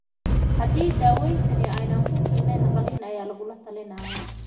Haddii daawayntani aanay ku filnayn, qalliin ayaa lagu talinayaa.